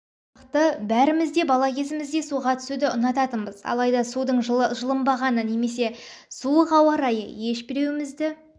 сияқты бәріміз де бала кезімізде суға түсуді ұнататынбыз алайда судын жылынбағаны немесе суық ауа-райы ешбіреуімізді